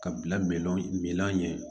Ka bila minan ɲɛ